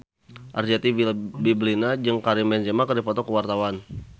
Arzetti Bilbina jeung Karim Benzema keur dipoto ku wartawan